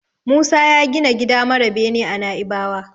Musa ya gina gida mara bene a Naibawa.